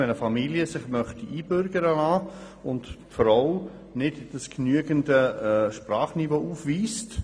Zum Beispiel wollte sich eine Familie einbürgern lassen und die Frau wies kein genügendes Sprachniveau auf.